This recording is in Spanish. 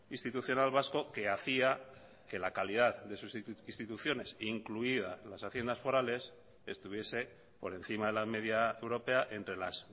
institucional vasco que hacía que la calidad de sus instituciones incluida las haciendas forales estuviese por encima de la media europea entre las